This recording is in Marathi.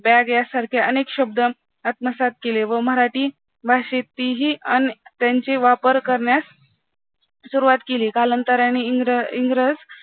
bag यासारखे अनेक शब्द आत्मसात केले व मराठी भाषेतही अन त्यांचे वापर करण्यास सुरुवात केली, कालांतराने इंग्र इंग्रज